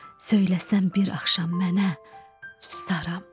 Söyləsən bir axşam mənə susaram.